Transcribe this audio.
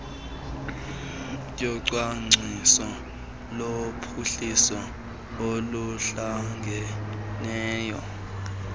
yocwangciso lophuhliso oluhlangeneyo